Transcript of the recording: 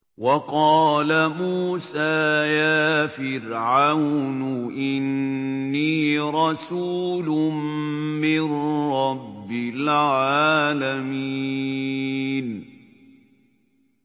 وَقَالَ مُوسَىٰ يَا فِرْعَوْنُ إِنِّي رَسُولٌ مِّن رَّبِّ الْعَالَمِينَ